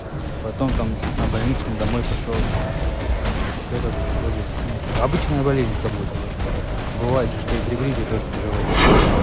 потом там на больничный домой пошёл и всё как бы вроде ну обычная болезнь как будто бы бывает же что и при гриппе тоже тяжело дышать